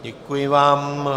Děkuji vám.